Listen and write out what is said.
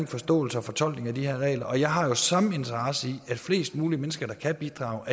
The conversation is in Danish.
forståelsen og fortolkningen af de her regler og jeg har jo samme interesse i at flest mulige mennesker der kan bidrage